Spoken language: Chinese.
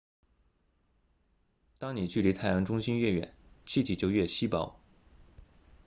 当你距离太阳中心越远气体就越稀薄